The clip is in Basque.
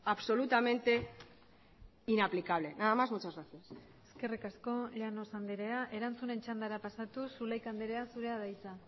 absolutamente inaplicable nada más muchas gracias eskerrik asko llanos andrea erantzunen txandara pasatuz zulaika andrea zurea da hitza